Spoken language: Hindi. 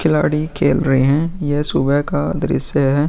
खिलाड़ी खेल रहें हैं ये सुबह का दृश्य है।